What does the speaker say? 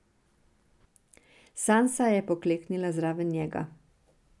Sansa je pokleknila zraven njega.